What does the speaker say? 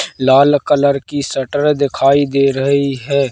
लाल colour की shutter दिखाई दे रही हैं।